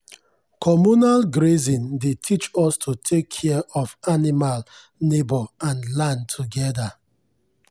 communal grazing dey teach us to take care of animal neighbour and land together.